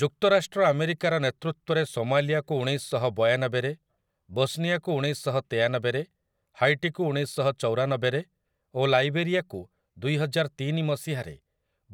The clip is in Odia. ଯୁକ୍ତରାଷ୍ଟ୍ର ଆମେରିକାର ନେତୃତ୍ୱରେ ସୋମାଲିଆକୁ ଉଣେଇଶଶହବୟାନବେରେ, ବୋସ୍ନିଆକୁ ଉଣେଇଶଶହତେୟାନବେରେ, ହାଈଟିକୁ ଉଣେଇଶଶହଚଉରାନବେରେ ଓ ଲାଇବେରିଆକୁ ଦୁଇହଜାରତିନି ମସିହାରେ